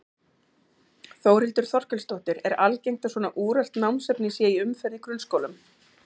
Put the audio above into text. Þórhildur Þorkelsdóttir: Er algengt að svona úrelt námsefni sé í umferð í grunnskólum?